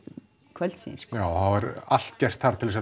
kvöldsins já það var allt gert þar til